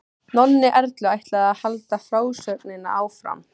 Nonni Erlu ætlaði að halda frásögninni áfram.